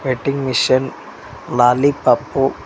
ವೇಟ್ಟಿಂಗ machine ಮಾಲಿ ಪಾಪು.